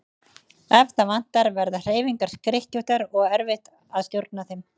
Ef það vantar verða hreyfingar skrykkjóttar og erfitt að stjórna þeim.